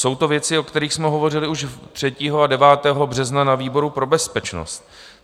Jsou to věci, o kterých jsme hovořili už 3 a 9. března na výboru pro bezpečnost.